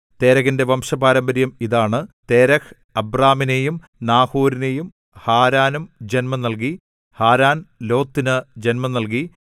തേരഹിന്റെ വംശപാരമ്പര്യം ഇതാണ് തേരഹ് അബ്രാമിനെയും നാഹോരിനെയും ഹാരാനും ജന്മം നൽകി ഹാരാൻ ലോത്തിനു ജന്മം നൽകി